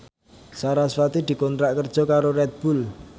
sarasvati dikontrak kerja karo Red Bull